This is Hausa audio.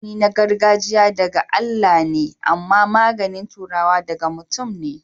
magani gargajia da ga Allah me ama magani turawa daga mutum ne